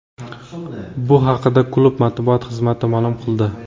Bu haqida klub matbuot xizmati ma’lum qildi .